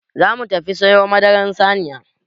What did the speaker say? Za mu tafi siyo madaran saniya.